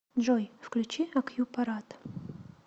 джой включи акьюпарат